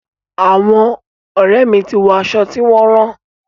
Àwọn ọ̀rẹ́ mi ti wọ aṣọ tí wọn rán.